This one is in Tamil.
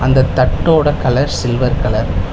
அந்த தட்டோட கலர் சில்வர் கலர் .